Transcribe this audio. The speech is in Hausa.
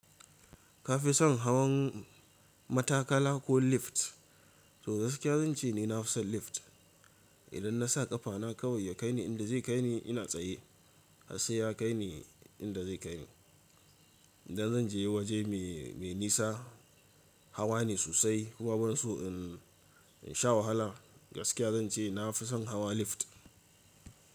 Ka fi son hawan matakala ko lift? To gaskiya zan ce ni na fi son lift. Idan na sa ƙafana kawai ya kai ni inda zai kai ni ina tsaye har sai ya kai ni inda zai kai ni. Idan zan je waje mai, mai nisa hawa ne sosai. Kuma ban so in, in sha wahala gaskiya zan ce na fi son hawa lift.